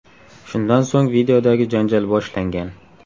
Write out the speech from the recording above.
Shundan so‘ng videodagi janjal boshlangan.